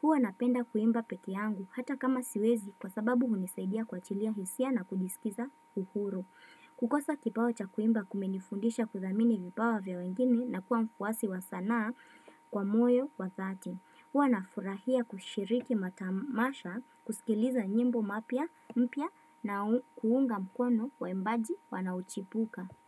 Huwa napenda kuimba pekee yangu hata kama siwezi kwa sababu hunisaidia kuachilia hisia na kujiskiza uhuru. Kukosa kipawa cha kuimba kumenifundisha kuthamini vipawa vya wengine na kuwa mfuwasi wa sanaa kwa moyo wa dhati. Huwa nafurahia kushiriki matamasha, kusikiliza nyimbo mapya mpya na kuunga mkono waimbaji wanaochibuka.